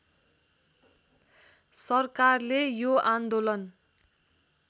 सरकारले यो आन्दोलन